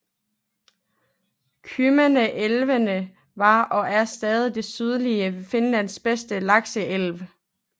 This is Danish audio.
Kymmene elven var og er stadig det sydlige Finlands bedste lakseelv